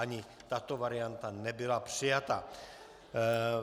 Ani tato varianta nebyla přijata.